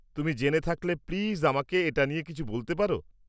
তুমি জেনে থাকলে প্লিজ আমাকে এটা নিয়ে কিছু বলতে পার?